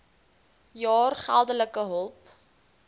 jaar geldelike hulp